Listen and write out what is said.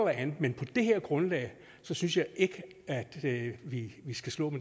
andet men på det her grundlag synes jeg ikke vi skal slå